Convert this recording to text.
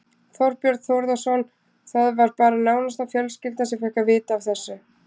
Þorbjörn Þórðarson: Það var bara nánasta fjölskylda sem fékk að vita af þessu?